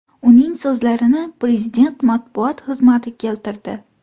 Uning so‘zlarini Prezident matbuot xizmati keltirdi .